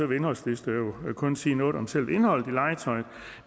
vil indholdslister jo kun sige noget om selve indholdet i legetøj